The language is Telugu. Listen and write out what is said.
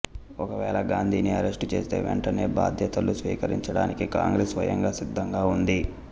ఒకవేళ గాంధీని అరెస్టు చేస్తే వెంటనే బాధ్యతలు స్వీకరించడానికి కాంగ్రెస్ స్వయంగా సిద్ధంగా ఉంది